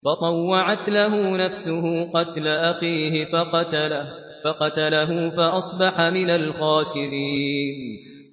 فَطَوَّعَتْ لَهُ نَفْسُهُ قَتْلَ أَخِيهِ فَقَتَلَهُ فَأَصْبَحَ مِنَ الْخَاسِرِينَ